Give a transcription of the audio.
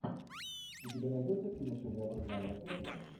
у тебя найдется киношедевр жанра пеплум